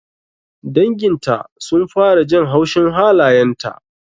Dangin ta sun fara jin haushin halayenta